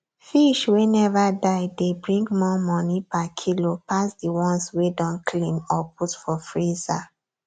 fish wey never die dey bring more money per kilo pass the ones wey don clean or put for freezer